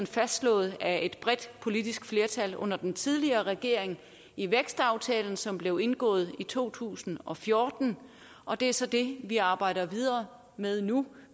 fastslået af et bredt politisk flertal under den tidligere regering i vækstaftalen som blev indgået i to tusind og fjorten og det er så det vi arbejder videre med nu